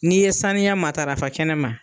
N'i ye saniya matarafa kɛnɛ ma